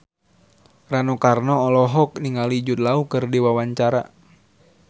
Rano Karno olohok ningali Jude Law keur diwawancara